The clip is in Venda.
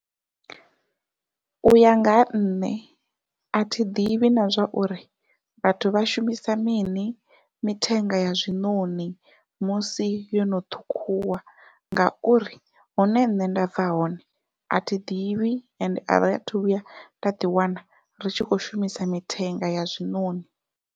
Uya nga ha nṋe athi ḓivhi na zwa uri vhathu vha shumisa mini mithenga ya zwiṋoṋi musi yo no ṱhukhuwa, ngauri hune nṋe nda bva hone athi ḓivhi ende ari athu vhuya nda ḓi wana ri tshi kho shumisa mithenga ya zwiṋoṋi.